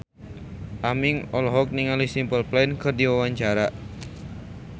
Aming olohok ningali Simple Plan keur diwawancara